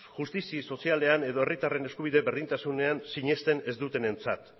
justizi sozialean edo herritarren eskubide berdintasunean sinesten ez dutenentzat